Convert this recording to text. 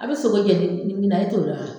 A bɛ sogo jɛni min na, e t'o don wa?